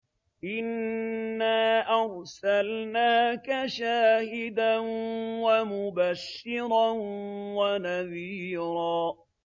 إِنَّا أَرْسَلْنَاكَ شَاهِدًا وَمُبَشِّرًا وَنَذِيرًا